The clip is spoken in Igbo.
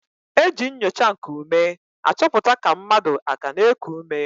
E ji nnyocha nkuume achọpụta ka mmadụ aka na-eku ume.